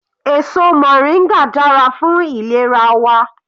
Èso moringa dára fún ìlera wa.